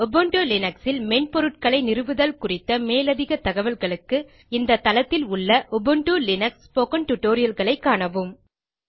Ubuntu Linux ல் மென்பொருட்களை நிறுவுதல் குறித்த மேலதிக தகல்களுக்கு இந்த தளத்தில் உள்ள உபுண்டு லினக்ஸ் ஸ்போக்கன் டியூட்டோரியல் களை காணவும்